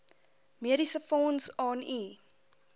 mediesefonds aan u